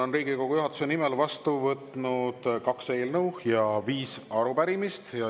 Olen Riigikogu juhatuse nimel vastu võtnud kaks eelnõu ja viis arupärimist.